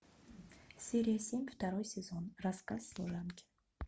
серия семь второй сезон рассказ служанки